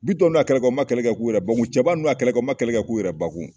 BITƆN ninnu ya kɛlɛ kɛ u ma kɛlɛ kɛ k'u yɛrɛ bankun CƐBA ninnu ya kɛlɛ u ma kɛlɛ kɛ k'u yɛrɛ bakun.